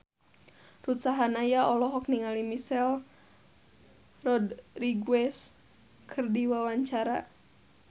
Ruth Sahanaya olohok ningali Michelle Rodriguez keur diwawancara